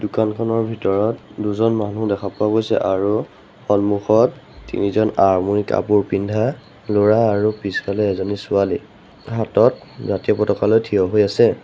দোকানখনৰ ভিতৰত দুজন মানুহ দেখা পোৱা গৈছে আৰু সন্মুখত তিনিজন আৰ্মী কাপোৰ পিন্ধা ল'ৰা আৰু পিছফালে এজনী ছোৱালী হাতত জাতীয় পতকা লৈ থিয় হৈ আছে।